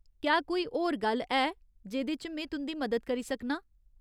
क्या कोई होर गल्ल है जेह्दे च में तुं'दी मदद करी सकनां ?